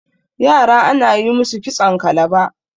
yara ana yi musu kitson kalaba